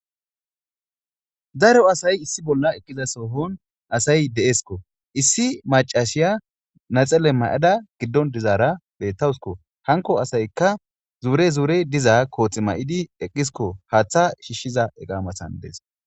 Daro asay issi bolla eqqiza soohon asay de7esko issi macashiya naxelle may7ada giddon dizaara bettawsko hanko asaykka zuure zuure diza kooxi may7idi eqqisko haaththa shiishshiza eqaamasan dees